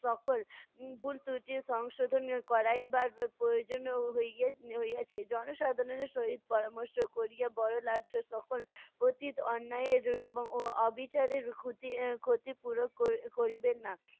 সকল উম ভুল-ত্রুটি সংশোধনের করাই বা প্রয়োজনীয় হইয়ে~ হইয়েছে। জনসাধারণের সহিত পরামর্শ করিয়া বড় লাট সকল অতীত অন্যায়ের এবং অ~ অবিচারের ক্ষতি ক্ষতিপূরণ করি~ করিবেন না।